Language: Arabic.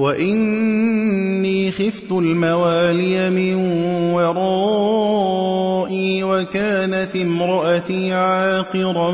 وَإِنِّي خِفْتُ الْمَوَالِيَ مِن وَرَائِي وَكَانَتِ امْرَأَتِي عَاقِرًا